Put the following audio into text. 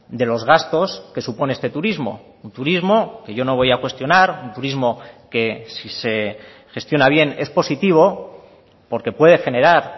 de los gastos que supone este turismo un turismo que yo no voy a cuestionar un turismo que si se gestiona bien es positivo porque puede generar